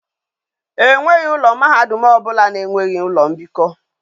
E nweghi mahadum obula na enweghi ulo mbiko